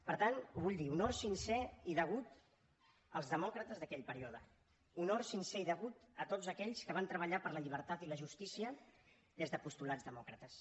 per tant ho vull dir honor sincer i degut als demòcrates d’aquell període honor sincer i degut a tots aquells que van treballar per la llibertat i la justícia des de postulats demòcrates